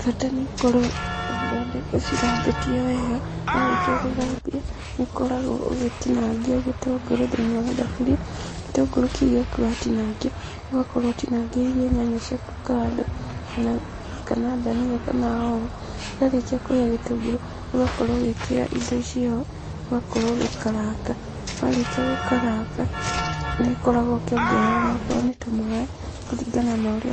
Bata nĩ ũkorwo ũcithambĩtie wega. Warĩkia gũthambia, nĩũkoragwo ũgĩtinangia gĩtũngũrũ thĩiniĩ wa thaburia. Gĩtũngũrũ kĩu gĩaku watinangia, ũgakorwo ũtinangĩirie nyanya ciaku kando kana, kana ndania kana hoho. Kĩarĩkia kũhĩa gĩtũngũrũ, ũgakorwo ũgĩkĩra indo icio ho, ũgakorwo ũgĩkaranga, warĩkia gũkaranga, nĩũkoragwo ũkĩongerera onokorwo nĩ tũmaĩ kũringana na ũrĩa